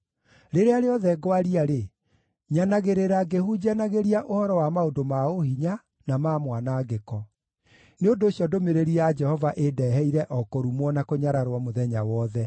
Rĩrĩa rĩothe ngwaria-rĩ, nyanagĩrĩra ngĩhunjanagĩria ũhoro wa maũndũ ma ũhinya, na ma mwanangĩko. Nĩ ũndũ ũcio ndũmĩrĩri ya Jehova ĩndeeheire o kũrumwo na kũnyararwo mũthenya wothe.